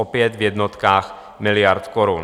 opět v jednotkách miliard korun.